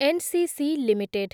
NCC limited